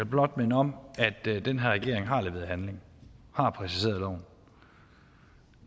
blot minde om at den her regering har leveret handling har præciseret loven